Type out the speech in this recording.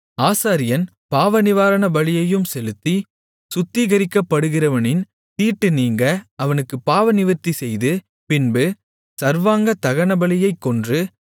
ஆசாரியன் பாவநிவாரணபலியையும் செலுத்தி சுத்திகரிக்கப்படுகிறவனின் தீட்டு நீங்க அவனுக்குப் பாவநிவிர்த்தி செய்து பின்பு சர்வாங்கதகனபலியைக் கொன்று